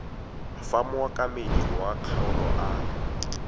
fa mookamedi wa kgaolo a